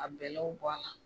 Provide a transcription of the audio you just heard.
Ka bɛlɛw bɔ a la